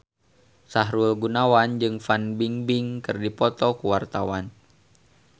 Sahrul Gunawan jeung Fan Bingbing keur dipoto ku wartawan